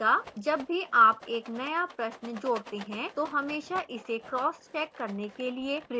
जब भी आप एक नया प्रश्न जोड़ते हैं तो हमेशा इसे cross check करने के लिए प्रिव्यू करें